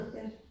Ja